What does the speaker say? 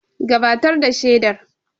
Gabatar da shaidar.